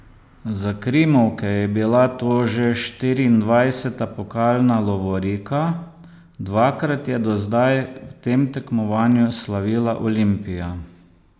Za krimovke je bila to že štiriindvajseta pokalna lovorika, dvakrat je do zdaj v tem tekmovanju slavila Olimpija.